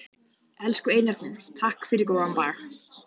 Elsku Einar Þór, takk fyrir góðan dag.